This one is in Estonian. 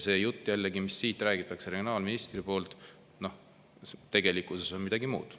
See jutt, mida regionaalminister siin räägib tegelikkus on midagi muud.